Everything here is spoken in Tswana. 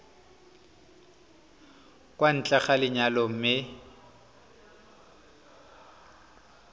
kwa ntle ga lenyalo mme